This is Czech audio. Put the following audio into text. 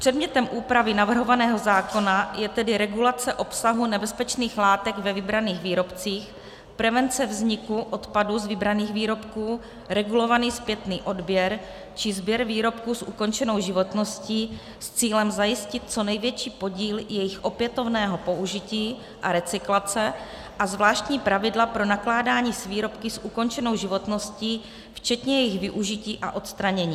Předmětem úpravy navrhovaného zákona je tedy regulace obsahu nebezpečných látek ve vybraných výrobcích, prevence vzniku odpadu z vybraných výrobků, regulovaný zpětný odběr či sběr výrobků s ukončenou životností s cílem zajistit co největší podíl jejich opětovného použití a recyklace a zvláštní pravidla pro nakládání s výrobky s ukončenou životností včetně jejich využití a odstranění.